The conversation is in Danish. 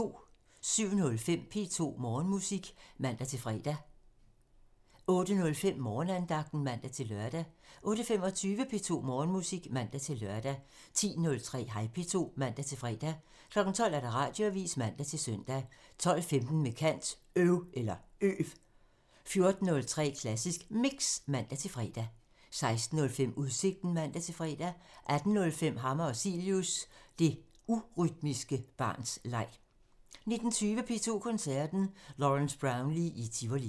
07:05: P2 Morgenmusik (man-fre) 08:05: Morgenandagten (man-lør) 08:25: P2 Morgenmusik (man-lør) 10:03: Hej P2 (man-fre) 12:00: Radioavisen (man-søn) 12:15: Med kant – Øv 14:03: Klassisk Mix (man-fre) 16:05: Udsigten (man-fre) 18:05: Hammer og Cilius – Det urytmiske barns leg 19:20: P2 Koncerten – Lawrence Brownlee i Tivoli